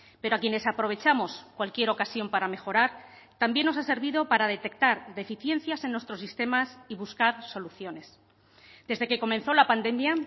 pero a quienes aprovechamos cualquier ocasión para mejorar también nos ha servido para detectar deficiencias en nuestros sistemas y buscar soluciones desde que comenzó la pandemia